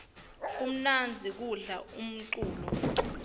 kumnandzi kudlala umculo